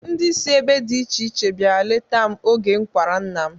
Ndị si ebe dị iche iche biara leta m oge m kwara nna m.